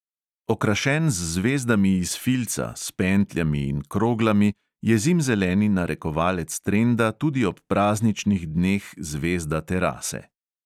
Okrašen z zvezdami iz filca, s pentljami in kroglami, je zimzeleni narekovalec trenda tudi ob prazničnih dneh zvezda terase.